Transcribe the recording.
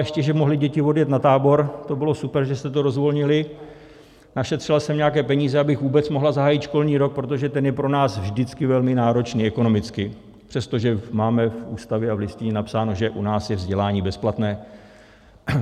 Ještě že mohly děti odjet na tábor, to bylo super, že jste to rozvolnili, našetřila jsem nějaké peníze, abych vůbec mohla zahájit školní rok, protože ten je pro nás vždycky velmi náročný ekonomicky, přestože máme v Ústavě a v Listině napsáno, že u nás je vzdělání bezplatné.